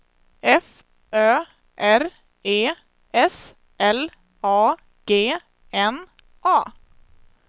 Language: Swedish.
F Ö R E S L A G N A